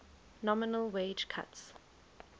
nominal wage cuts